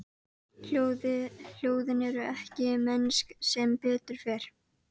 Hljóðin eru ekki mennsk, sem betur fer.